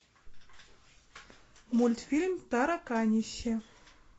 мультфильм тараканище